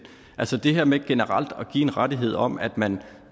altså det her med generelt at give en rettighed om at man